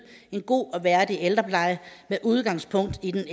en god og værdig ældrepleje med udgangspunkt i den